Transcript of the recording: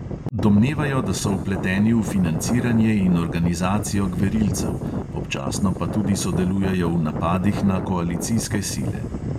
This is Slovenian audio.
Domnevajo, da so vpleteni v financiranje in organizacijo gverilcev, občasno pa tudi sodelujejo v napadih na koalicijske sile.